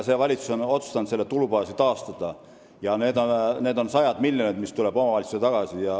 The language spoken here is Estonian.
Praegune valitsus on otsustanud selle tulubaasi taastada ja omavalitsustele tulevad tagasi sajad miljonid.